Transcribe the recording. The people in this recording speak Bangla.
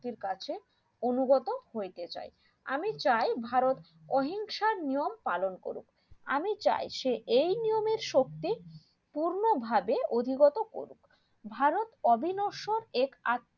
কাছে অনুগত হইতে চাই আমি চাই ভারত অহিংসার নিয়ম পালন করুক আমি চাই সে এই নিয়মের শক্তি পূর্ণ ভাবে অধিগত করুক ভারত অবিনস্য এর